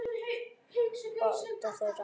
Báta þeirra